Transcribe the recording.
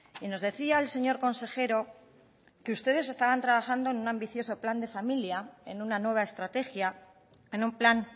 y nos decía el señor consejero que ustedes estaban trabajando en un ambicioso plan de familia en una nueva estrategia en un plan